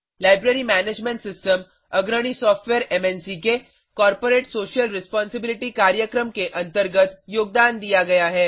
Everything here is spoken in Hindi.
लाइब्रेरी मैनेजमेंट सिस्टम अग्रणी सॉफ्टवेयर मन्क के कॉर्पोरेट सोशल रेस्पोंसिबिलिटी कार्यक्रम के अंतर्गत योगदान दिया गया है